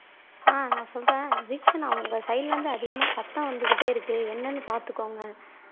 ஆஹ் நான் சொல்றேன் தீக்ஷனா உங்க சைடுல இருந்து அதிகமா சத்தம் வந்துகிட்டே இருக்கு என்னன்னு பாத்துக்கோங்க